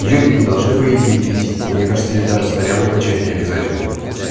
её ведь не должны по идее бить и мне кажется ей даже снарягу качать необязательно